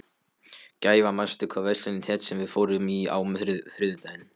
Gæfa, manstu hvað verslunin hét sem við fórum í á þriðjudaginn?